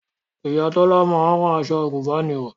Ìyá Tọ́lá máa ń rán aṣọ àgùnbánirọ̀